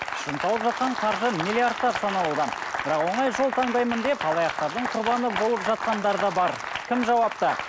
шын тауып жатқан қаржы миллиардтап саналуда бірақ оңай жол таңдаймын деп алаяқтардың құрбаны болып жатқандар да бар кім жауапты